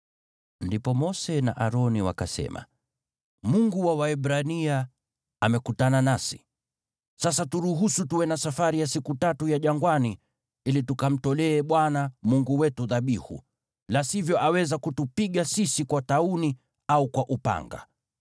Ndipo Mose na Aroni wakasema, “Mungu wa Waebrania amekutana nasi. Sasa turuhusu tuwe na safari ya siku tatu ya jangwani ili tukamtolee Bwana Mungu wetu dhabihu, la sivyo aweza kutupiga sisi kwa tauni au kwa upanga.”